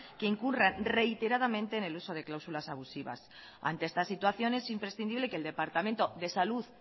que incurra reiteradamente en el uso de cláusulas abusivas ante esta situación es imprescindible que el departamento de salud